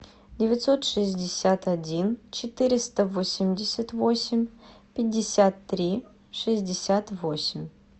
девятьсот шестьдесят один четыреста восемьдесят восемь пятьдесят три шестьдесят восемь